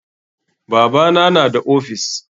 Babana na da ofis.